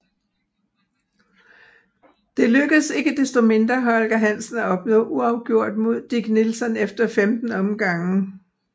Det lykkedes ikke desto mindre Holger Hansen at opnå uafgjort mod Dick Nelson efter 15 omgange